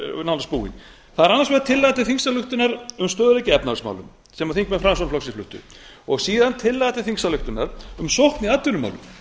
nánast búinn það er annars vegar tillaga til þingsályktunar um stöðugt öryggi í efnahagsmálum sem þingmenn framsóknarflokksins fluttu og síðan tillaga til þingsályktunar um sókn í atvinnumálum